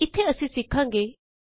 ਇੱਥੇ ਅਸੀ ਸਿਖਾਂਗੇ 1